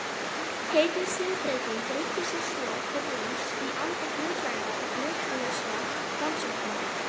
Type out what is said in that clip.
Heitið siðbreyting ruddi sér svo til rúms í anda hlutlægra og hlutlausra rannsókna.